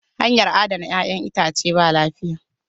Hanyar adana 'yac'yan itace ba lafiya.